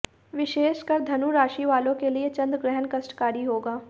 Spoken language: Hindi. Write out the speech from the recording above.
विशेषकर धनु राशि वालों के लिए चंद्रग्रहण कष्टकारी होगा